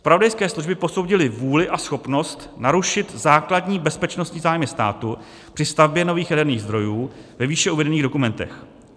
Zpravodajské služby posoudily vůli a schopnost narušit základní bezpečnostní zájmy státu při stavbě nových jaderných zdrojů ve výše uvedených dokumentech.